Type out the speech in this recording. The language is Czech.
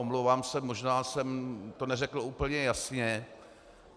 Omlouvám se, možná jsem to neřekl úplně jasně.